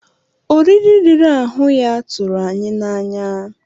Oriri riri ahụ ya tụrụ anyị n'anya.